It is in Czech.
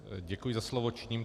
Děkuji za slovo.